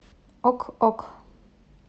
ок ок